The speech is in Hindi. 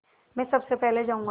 मैं सबसे पहले जाऊँगा